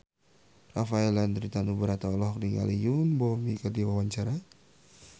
Rafael Landry Tanubrata olohok ningali Yoon Bomi keur diwawancara